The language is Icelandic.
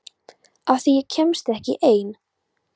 Af því að ég kemst ekki ein.